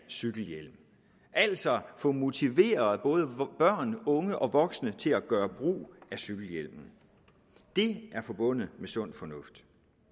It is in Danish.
cykelhjelm altså få motiveret både børn unge og voksne til at gøre brug af cykelhjelmen det er forbundet med sund fornuft